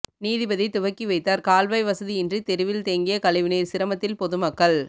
நீதிபதி துவக்கி வைத்தார் கால்வாய் வசதியின்றி தெருவில் தேங்கிய கழிவுநீர் சிரமத்தில் பொதுமக்கள்